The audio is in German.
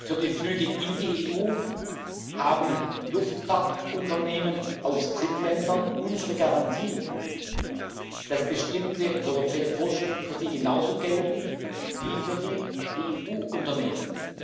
Für die Flüge in die EU haben Luftfahrtunternehmen aus Drittländern unsere Garantie, dass bestimmte europäische Vorschriften für sie genauso gelten wie für die EU-Unternehmen.